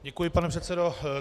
Děkuji, pane předsedo.